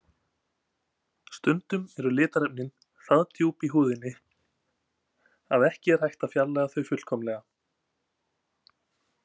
Stundum eru litarefnin það djúpt í húðinni að ekki er hægt að fjarlægja þau fullkomlega.